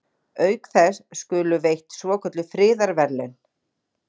Auk þess skulu veitt svokölluð friðarverðlaun.